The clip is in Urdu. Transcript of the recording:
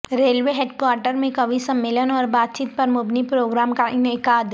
ریلوے ہیڈکوارٹرمیں کوی سمیلن اوربات چیت پرمبنی پروگرام کاانعقاد